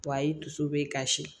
a y'i dusu bɛ kasi